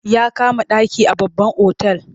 Ya kama ɗaki a babban otal.